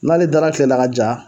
N'ale dara kile la ja